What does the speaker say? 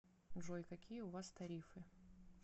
джой какие у вас тарифы